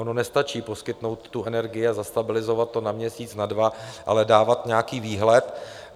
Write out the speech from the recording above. Ono nestačí poskytnout tu energii a zastabilizovat to na měsíc, na dva, ale dávat nějaký výhled.